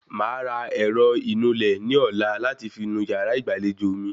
Màá ra ẹ̀rọ ìnulẹ̀ ní ọ̀la láti fi nu yàrá ìgbàlejò mi